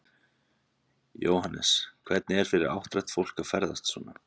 Jóhannes: Hvernig er fyrir áttrætt fólk að ferðast svona?